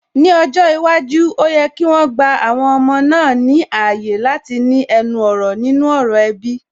Ní ọjọ́ iwájú, ó yẹ kí wọn gba àwọn ọmọ náà ní ààyè láti ní ẹnu ọ̀rọ̀ nínú ọ̀rọ̀ ẹbí